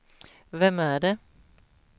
vem är det